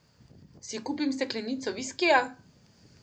Si kupim steklenico viskija?